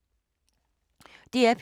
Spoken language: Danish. DR P3